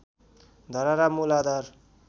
धरहरा मूल आधार